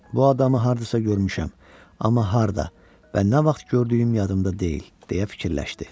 Bu adamı hardasa görmüşəm, amma harda və nə vaxt gördüyüm yadımda deyil, deyə fikirləşdi.